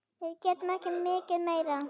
Við getum ekki mikið meir.